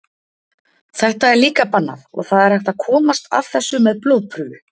Þetta er líka bannað og það er hægt að komast að þessu með blóðprufu.